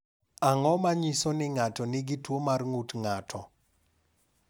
Ang’o ma nyiso ni ng’ato nigi tuwo mar ng’ut ng’ato?